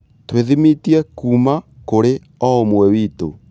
Twĩthimithie kuuma kũrĩ o ũmwe witũ.